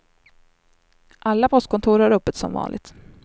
Alla postkontor har öppet som vanligt.